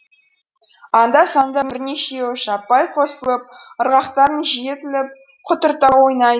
анда санда бірнешеуі жаппай қосылып ырғақтарын жиілетіп құтырта ойнайды